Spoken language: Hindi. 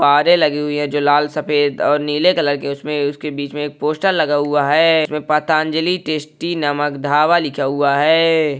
बारे लगी हुई है। जो लाल सफ़ेद और नीले कलर की उसमे उसके बिछ मे एक पोस्टर लगा हुआ है। उसमे पतांजली टेस्टी नमक ढाबा लिखा हुआ है।